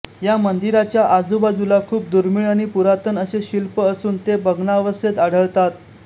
या मंदीराच्या आजूबाजूला खूप दुर्मिळ आणि पुरातन असे शिल्प असून ते भग्नावस्थेत आढळतात